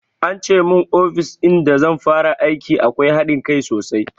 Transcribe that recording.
Ance mun ofis in da zan fara aiki akwai haɗin kai sosai